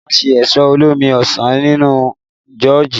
A máa ṣe èso olómi ọsàn sínú jọ́ọ̀gì